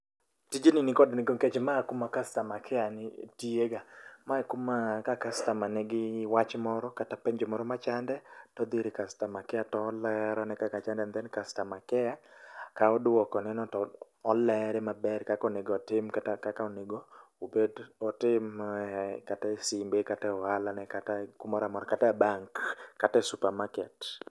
Tijni nikod nengo nikech ma e kuma customer care nitiega. Ma e kuma ka customer nigi wach moro kata penjo moro machande to odhi ir customer care to olerone kaka chande and then customer care kawo duoko neno to olere maber kaka onego otim kata kaka onego obed. Otim kata e simbe kata e ohalane kata e bank kata e supermarket